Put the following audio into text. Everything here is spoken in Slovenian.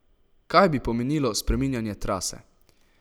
Kaj bi pomenilo spreminjanje trase?